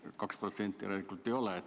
2% järelikult ei ole.